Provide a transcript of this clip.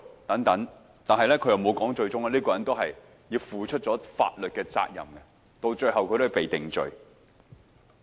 但朱凱廸議員沒有說這位人士最終都要負上法律責任，被定罪。